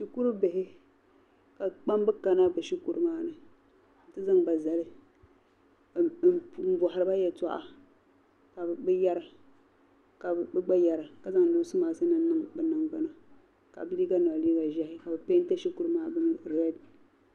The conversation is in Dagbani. Shikuru bihi ka kpamba kana bi shikuru maani nti zaŋ ba n, zali m bɔhiri ba. ya toɣa ka bi yara ka bi gba yara ka zaŋ nɔɔse matinim n niŋ bi nangban ni ka bihi maa ye liiga zɛhi, kabi pɛɛnti shikuru maa read.